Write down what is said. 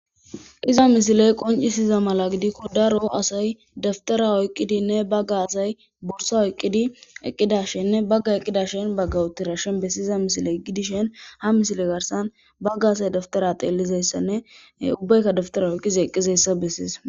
Iza misiley qoncisiza mala gidikko daro asay daftara oyqqidinne bagga asay bursa oyqqidi eqqida shenne bagga eqqida shin baggawutirashen bessiiza misiley gidishen ha misile garsan bagga asay daftara teellizayssanne ubbaykka daftara oyqqiza eqqizayssa bessiis